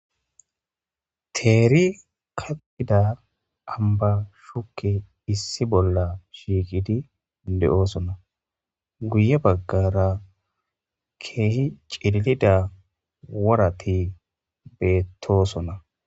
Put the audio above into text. Teeri kaxxida ambba shukeyi issi bolla shiqqiddi de'osona .guye bagara kehi cililida worata betosona.